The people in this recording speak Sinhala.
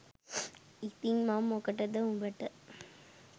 ඉතිං මං මොකටද උඹට